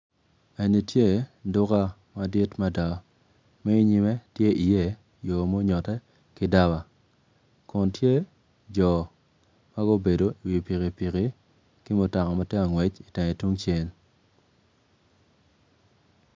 Eni tye duka madit mada ma inyime tye iye yo ma onyotte ki daba kun tye jo ma gubedo iwi pikipiki ki mutoka ma tye ka ngwec itenge tungcel.